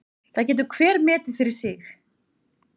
Það getur hver metið fyrir sig.